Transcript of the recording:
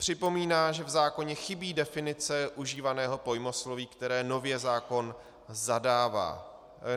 Připomíná, že v zákoně chybí definice užívaného pojmosloví, které nově zákon zavádí.